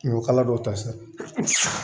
Ɲɔkala dɔw ta sa